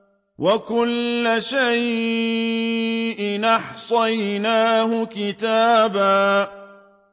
وَكُلَّ شَيْءٍ أَحْصَيْنَاهُ كِتَابًا